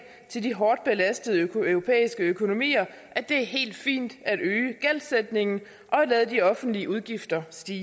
til de hårdt belastede europæiske økonomier at det er helt fint at øge gældsætningen og at lade de offentlige udgifter stige